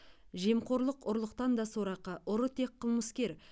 жемқорлық ұрлықтан да сорақы ұры тек қылмыскер